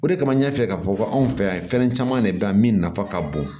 O de kama n y'a fɛ k'a fɔ ko anw fɛ yan fɛn caman de bɛ yan min nafa ka bon